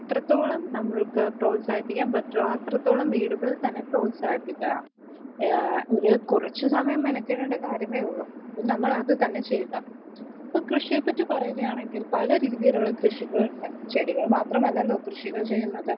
എത്രത്തോളം നമ്മൾക്ക് പ്രോത്സാഹിക്കാൻ പറ്റുവോ അത്രത്തോളം വീടുകളിൽ തന്നെ പ്രോത്സാഹിപ്പിക്കുക ഒരു കുറച്ച് നേരം മെനക്കെടേണ്ട കാര്യമേയുള്ളു നമ്മൾ അത് തന്നെ ചെയ്യുക കൃഷിയെപ്പറ്റി പറയുകയാണെങ്കിൽ പലതരത്തിലുള്ള കൃഷികളുണ്ട് ചെടികൾ മാത്രമെല്ലല്ലോ കൃഷികൾ ചെയുന്നത്